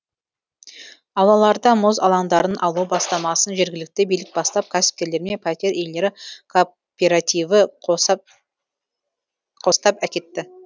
аулаларда мұз алаңдарын алу бастамасын жергілікті билік бастап кәсіпкерлермен пәтер иелері кооперативі қостап әкетті